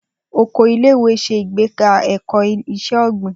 Oko ilé ìwé se ìgbéga eko Ise ogbin